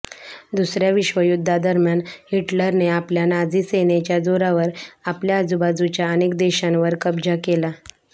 दुसऱ्या विश्वयुद्धादरम्यान हिटलरने आपल्या नाझी सेनेच्या जोरावर आपल्या आजूबाजूच्या अनेक देशांवर कब्जा केला